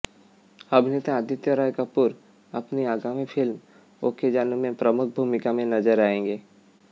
अभिनेता आदित्य रॉय कपूर अपनी आगामी फिल्म ओके जानू में प्रमुख भूमिका में नजर आएंगे